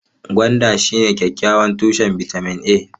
Gwanda shine kyakkyawan tushen bitamin A.